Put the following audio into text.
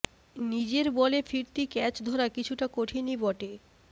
নিজের বলে ফিরতি ক্যাচ ধরা কিছুটা কঠিনই বটে